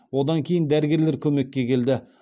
одан кейін дәрігерлер көмекке келді